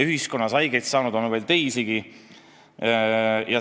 Ühiskonnas haiget saanuid on veel teisigi.